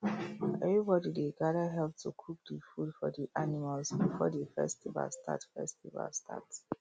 everybody dey gather help to cook the food for the animals before the festival start festival start